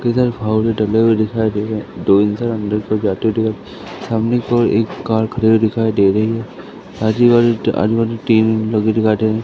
किधर फावड़े टंगे हुए दिखाई दे रहे हैं दो इंसान अंदर को जाते हुए दिखा सामने की ओर एक कार खड़ी हुई दिखाई दे रही है आजू-बाजू त आजू-बाजू तीन लोग भी दिखाई दे रहे हैं।